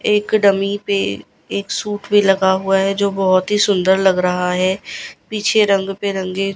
एक डमी पे एक सूट भी लगा हुआ है जो बहोत ही सुंदर लग रहा है पीछे रंग बिरंगे--